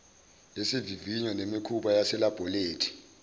yesivivinyo nemikhuba yaselabholethi